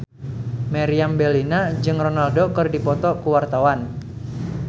Meriam Bellina jeung Ronaldo keur dipoto ku wartawan